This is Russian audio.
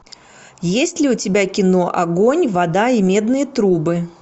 есть ли у тебя кино огонь вода и медные трубы